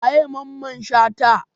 Wa ye Mamman shata?